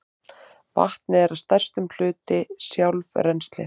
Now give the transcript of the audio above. Vatnið er að stærstum hluti sjálfrennsli